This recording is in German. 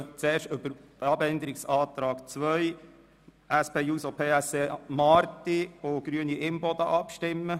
Ich lasse zuerst über den Abänderungsantrag 2 der SP-JUSOPSA-Fraktion/Marti und Grüne/Imboden abstimmen.